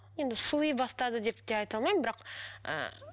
енді суи бастады деп те айта алмаймын бірақ ы